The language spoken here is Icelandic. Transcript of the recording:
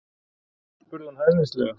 spurði hún hæðnislega.